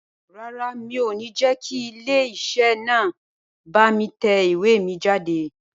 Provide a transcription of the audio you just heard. Rárá, mi ò ní jẹ́ kí ilé iṣẹ́ náà bá mi tẹ ìwé mi jáde